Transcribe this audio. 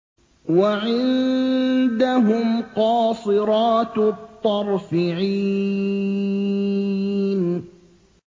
وَعِندَهُمْ قَاصِرَاتُ الطَّرْفِ عِينٌ